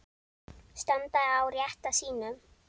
Standa á rétti sínum?